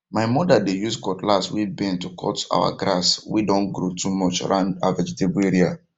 my mother dey use cutlass way bend to cut our grass way don grow too much round her vegetable area